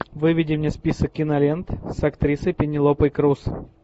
выведи мне список кинолент с актрисой пенелопой крус